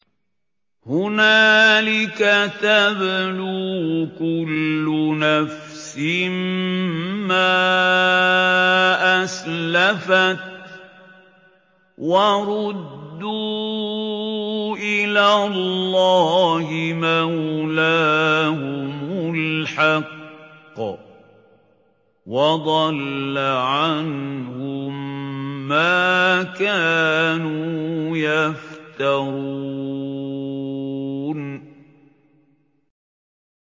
هُنَالِكَ تَبْلُو كُلُّ نَفْسٍ مَّا أَسْلَفَتْ ۚ وَرُدُّوا إِلَى اللَّهِ مَوْلَاهُمُ الْحَقِّ ۖ وَضَلَّ عَنْهُم مَّا كَانُوا يَفْتَرُونَ